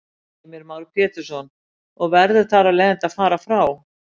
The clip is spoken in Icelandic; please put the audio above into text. Heimir Már Pétursson: Og verður þar af leiðandi að fara frá?